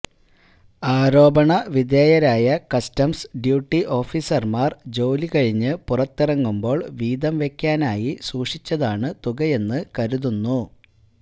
ആരോപണവിധേയരായ customs duty ഓഫീസര്മാര് ജോലികഴിഞ്ഞ് പുറത്തിറങ്ങുമ്പോള് വീതംവെക്കാനായി സൂക്ഷിച്ചതാണ് തുകയെന്ന് കരുതുന്നു